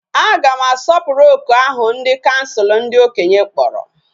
Aga m asoporu oku ahu nke bdi kansul ndi okenye kporo.